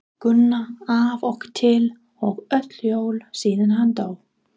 Gunna af og til og öll jól síðan hann dó.